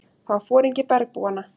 Það var foringi bergbúanna.